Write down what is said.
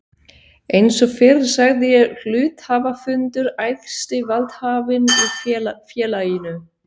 Eins og fyrr sagði er hluthafafundur æðsti valdhafinn í félaginu.